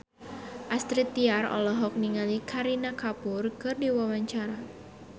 Astrid Tiar olohok ningali Kareena Kapoor keur diwawancara